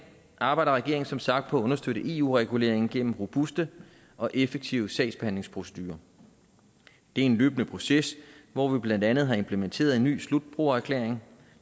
arbejder regeringen som sagt på at understøtte eu reguleringen gennem robuste og effektive sagsbehandlingsprocedurer det er en løbende proces hvor vi blandt andet har implementeret en ny slutbrugererklæring